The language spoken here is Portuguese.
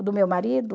do meu marido?